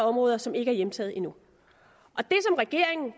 områder som ikke er hjemtaget endnu